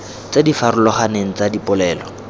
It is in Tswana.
tse di farologaneng tsa dipolelo